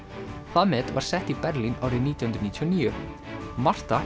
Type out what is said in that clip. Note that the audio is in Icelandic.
það met var sett í Berlín árið nítján hundruð níutíu og níu